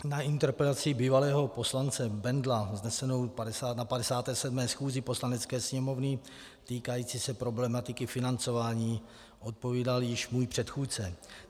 Na interpelaci bývalého poslance Bendla vznesenou na 57. schůzi Poslanecké sněmovny, týkající se problematiky financování, odpovídal již můj předchůdce.